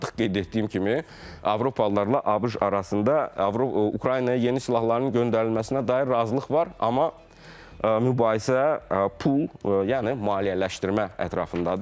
Artıq qeyd etdiyim kimi Avropalılarla ABŞ arasında Ukraynaya yeni silahların göndərilməsinə dair razılıq var, amma mübahisə pul, yəni maliyyələşdirmə ətrafındadır.